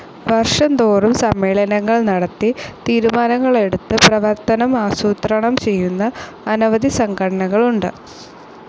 വർഷംതോറും സമ്മേളനങ്ങൾ നടത്തി തീരുമാനങ്ങളെടുത്ത് പ്രവർത്തനം ആസൂത്രണംചെയ്യുന്ന അനവധി സംഘടനകളുണ്ട്.